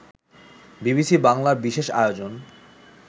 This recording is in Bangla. বিবিসি বাংলার বিশেষ আয়োজন